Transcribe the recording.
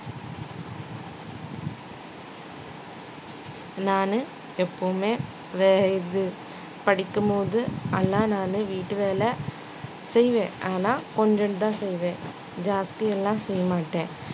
நானு எப்பவுமே வே~ இது படிக்கும் போது நானு வீட்டு வேலை செய்வேன் ஆனா கொஞ்சதான் செய்வேன் ஜாஸ்தி எல்லாம் செய்ய மாட்டேன்